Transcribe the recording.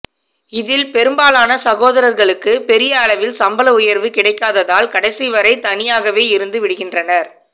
இதில் பெரும்பாலான சகோதரர்களுக்கு பெரிய அளவில் சம்பள உயர்வு கிடைக்காததால் கடைசிவரை தனியாகவே இருந்துவிடுகின்றனர்